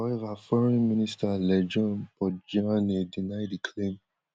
however foreign minister lejone mpotjoane deny di claim